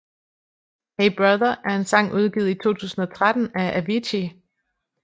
Hey Brother er en sang udgivet i 2013 af Avicii